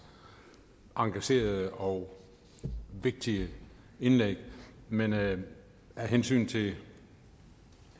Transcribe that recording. engagerede og vigtige indlæg men af hensyn til